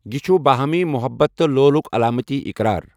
یہِ چھُ باہمی محبَت تہٕ لولُک علامتی اقرار۔